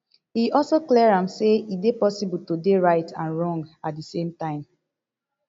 e also clear am say e dey possible to dey right and wrong at di same time